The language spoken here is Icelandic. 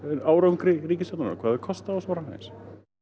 árangri ríkisstjórnarinnar hvað þau kosta og svo framvegis